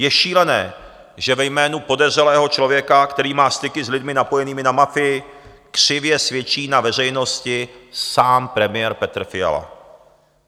Je šílené, že ve jménu podezřelého člověka, který má styky s lidmi napojenými na mafii, křivě svědčí na veřejnosti sám premiér Petr Fiala.